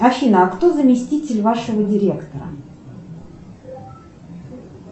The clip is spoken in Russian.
афина а кто заместитель вашего директора